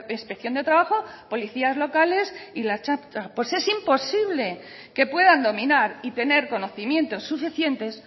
inspección de trabajo policías locales y la ertzaintza pues es imposible que puedan dominar y tener conocimientos suficientes